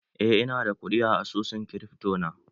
Eh, ina da kuɗi a asusun krifto na.